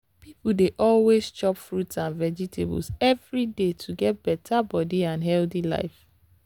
people dey always chop fruits and vegetables every day to get better body and healthy life.